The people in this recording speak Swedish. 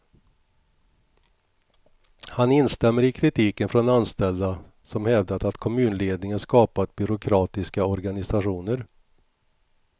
Han instämmer i kritiken från anställda, som hävdat att kommunledningen skapat byråkratiska organisationer.